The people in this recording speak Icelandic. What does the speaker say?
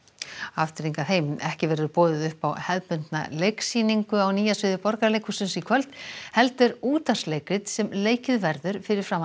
ekki verður boðið upp á hefðbundna leiksýningu á Nýja sviði Borgarleikhússins í kvöld heldur útvarpsleikrit sem leikið verður fyrir framan